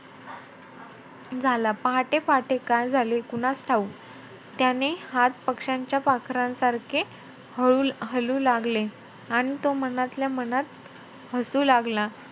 झाला. पहाटे-पहाटे काय झाले कुणास ठाऊक. त्याने हात पक्ष्यांच्या पाखरांसारखे हळू~ हलू लागले आणि तो मनातल्या मनात हसू लागला झाला.